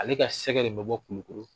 Ale ka sɛgɛ de bɛ bɔ Kulukɔrɔ